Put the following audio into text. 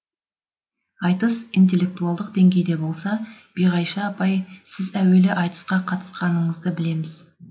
айтыс интеллектуалдық деңгейде болса биғайша апай сіз әуелі айтысқа қатысқаныңызды білеміз